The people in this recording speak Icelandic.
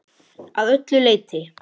Að öllu leyti.